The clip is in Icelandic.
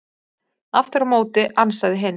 Aftur á móti ansaði hinn: